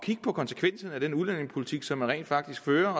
på konsekvenserne af den udlændingepolitik som man rent faktisk fører